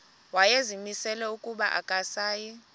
wayezimisele ukuba akasayi